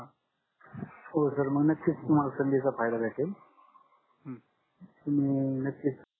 हो सर मग नक्कीच तुम्हाला सांदीचा फायदा मिडेल तुम्ही नक्कीच